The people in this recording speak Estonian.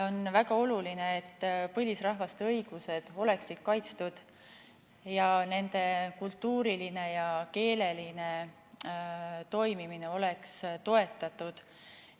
On väga oluline, et põlisrahvaste õigused oleksid kaitstud ning nende kultuuriline ja keeleline toimimine oleks toetatud.